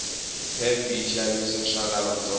pep yishavisa swalavatsongo